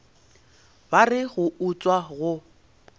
ba re go utswa go